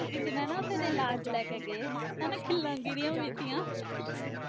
ਕਿਸੇ ਨੇ ਨਾ ਉਥੇਂ ਤੇ ਲਾਸ਼ ਲੈ ਕੇ ਗਏ ਹਨਾ ਖਿੱਲਾਂ ਗਿਰੀਆਂ ਵੀਆਂ ਤੀਆਂ